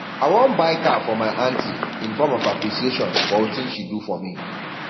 i wan buy car for my aunty in form of appreciation for wetin she do for me